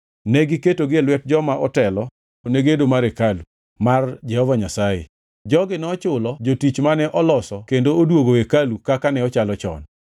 Negiketogi e lwet joma otelo ne gedo mar hekalu mar Jehova Nyasaye. Jogi nochulo jotich mane oloso kendo odwogo hekalu kaka ne ochalo chon.